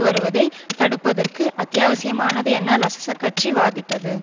வருவதை தடுப்பதற்கு அத்தியாவசியமானது என லசசகட்சி வாதிட்டது